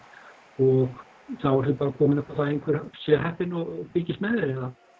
og þá ertu bara komin upp að einhver sé heppinn og fylgist með þér